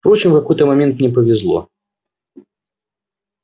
впрочем в какой-то момент мне повезло